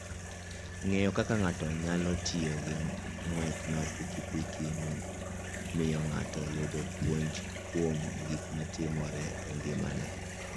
Ng'eyo kaka ng'ato nyalo tiyo gi ng'wech mar pikipiki miyo ng'ato yudo puonj kuom gik matimore e ngimane.